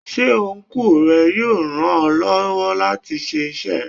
Ṣé Ọnkú ẹ yóò ràn ọ́ lọ́wọ́ láti ṣe iṣẹ́ ẹ?